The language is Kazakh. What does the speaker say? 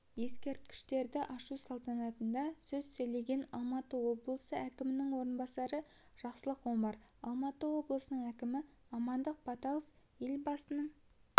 ескерткішті ашу салтанатында сөз сөйлеген алматы облысы әкімінің орынбасары жақсылық омаралматы облысының әкімі амандық баталов елбасының